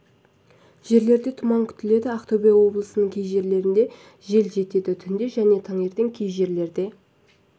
жерлерде тұман күтіледі ақтөбе облысының кей жерлерінде жел жетеді түнде және таңертең кей жерлерде